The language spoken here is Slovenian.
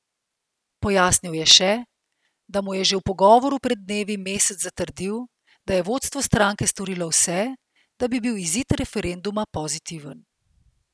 Pojasnil je še, da mu je že v pogovoru pred dnevi Mesec zatrdil, da je vodstvo stranke storilo vse, da bi bil izid referenduma pozitiven.